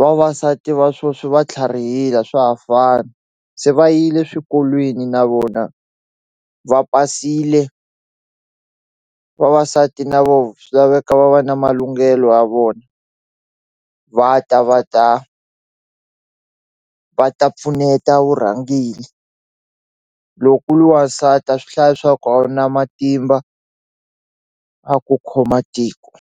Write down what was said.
vavasati va swoswi va tlharihile a swa ha fani se va yile swikolweni na vona va pasile vavasati na vo swi laveka va va na malunghelo ya vona va ta va ta va ta pfuneta vurhangeli loko u li wansati a swi hlayi swa ku a wu na matimba a ku khoma tiko.